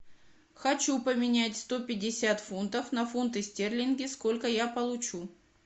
хочу поменять сто пятьдесят фунтов на фунты стерлинги сколько я получу